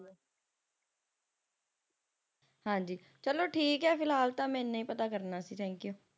ਹਾਂਜੀ ਚਲੋ ਠੀਕ ਆ ਫਿਲਹਾਲ ਤਾਂ ਮੈਂ ਇਹਨਾਂ ਹੀ ਪਤਾ ਕਰਨਾ ਸੀ thankyou